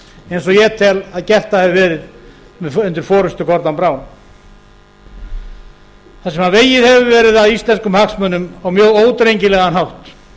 eins og ég tel að gert hafi verið undir forustu grodon brown þar sem vegið hefur verið að íslenskum hagsmunum á mjög ódrengilegum hátt